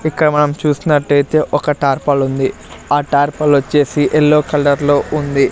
ఇక్కడ మనం చూసినట్టయితే ఒక టార్పల్ ఉంది ఆ టార్పల్ వచ్చేసి ఎల్లో కలర్ లో ఉంది.